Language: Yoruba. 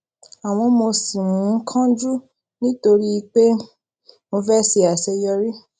àmó mo ṣì ń um kánjú nítorí pé mo fé ṣe àṣeyọrí